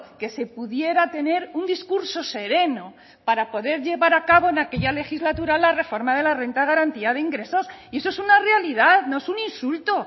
que se pudiera tener un discurso sereno para poder llevar a cabo en aquella legislatura la reforma de la renta de garantía de ingresos y eso es una realidad no es un insulto